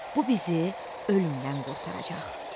Bu bizi ölümdən qurtaracaq.